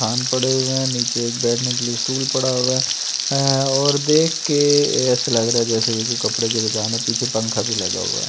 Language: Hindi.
खान पड़े हुए हैं नीचे एक बैठने के लिए स्टूल पड़ा हुआ है और देख के ऐसे लग रहा है जैसे ये कोई कपड़े की दुकान है पीछे पंखा भी लगा हुआ है --